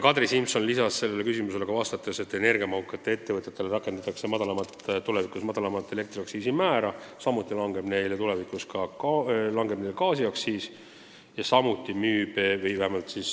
Kadri Simson lisas sellele küsimusele vastates, et energiamahukatele ettevõtetele rakendatakse tulevikus madalamat elektriaktsiisi määra, samuti langeb tulevikus neile kohaldatav gaasiaktsiis.